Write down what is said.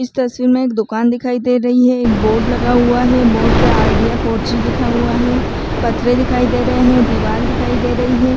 इस तस्वीर में एक दुकान दिखाई दे रही है एक बोर्ड लगा हुआ है बोर्ड पे आईडिया फोर जी लिखा हुआ है पत्थरे दिखाई दे रहे है दीवाल दिखाई दे रही है ।